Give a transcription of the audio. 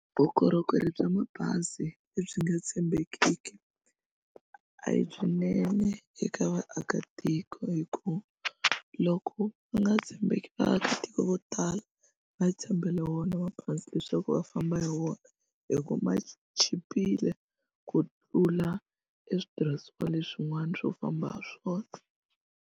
Vukorhokeri bya mabazi lebyi nga tshembekiki a hi byinene eka vaakatiko hikuva loko va nga tshembeki vaakatiko vo vo tala va tshembele wona mabazi leswaku va famba hi wona hi ku ma chipile ku tlula eswitirhisiwa leswin'wana swo famba ha swona.